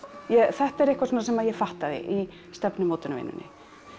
þetta er eitthvað svona sem ég fattaði í stefnumótunarvinnunni